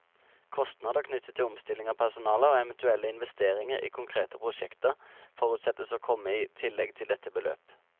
Kostnader knyttet til omstilling av personale, og eventuelle investeringer i konkrete prosjekter, forutsettes å komme i tillegg til dette beløp.